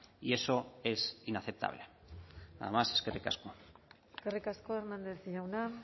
y eso es inaceptable nada más eskerrik asko eskerrik asko hernández jauna